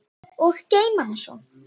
Og geyma hana svo.